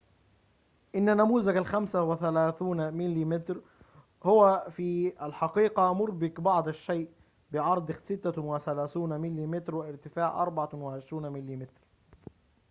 إن نموذج ال35 مم هو في الحقيقة مربك بعض الشيء بعرض 36 مم وارتفاع 24 مم